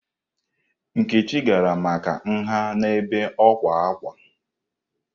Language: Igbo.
Nkechi gara maka nha n'ebe ọkwà ákwá.